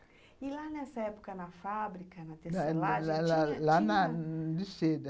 E, lá nessa época, na fábrica, na tecelagem, tinha... Lá na.